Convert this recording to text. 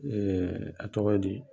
A tɔgɔ ye di?